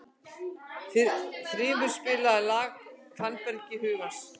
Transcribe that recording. Þrymur, spilaðu lagið „Fannfergi hugans“.